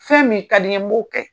Fɛn min kadi n ye n b'o kɛ.